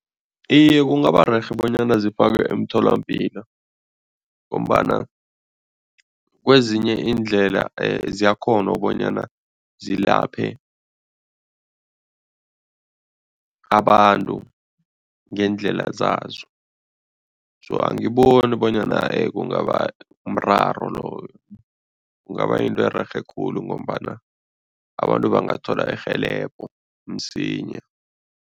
Iye, kungaba rerhe bonyana zifakwe emtholampilo ngombana kwezinye iindlela ziyakghona bonyana zilaphe abantu ngeendlela zazo so angiboni bonyana kungaba mraro loyo. Kungaba yinto ererhe khulu ngombana abantu bangathola irhelebho msinya.